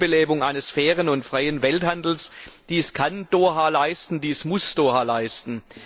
Eine Neubelebung eines fairen und freien Welthandels dies kann Doha leisten, dies muss Doha leisten!